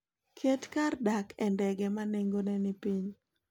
Ket kar dak e ndege ma nengone ni piny.